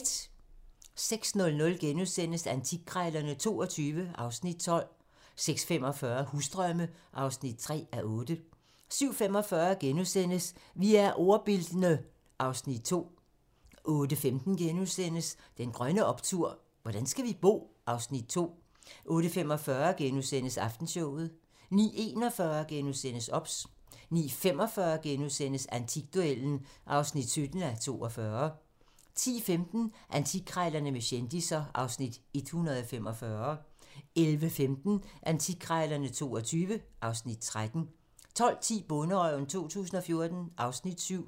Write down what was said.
06:00: Antikkrejlerne XXII (Afs. 12)* 06:45: Husdrømme (3:8) 07:45: Vi er ordbildne (Afs. 2)* 08:15: Den grønne optur: Hvordan skal vi bo? (Afs. 2)* 08:45: Aftenshowet * 09:41: OBS * 09:45: Antikduellen (17:42)* 10:15: Antikkrejlerne med kendisser (Afs. 145) 11:15: Antikkrejlerne XXII (Afs. 13) 12:10: Bonderøven 2014 (Afs. 7)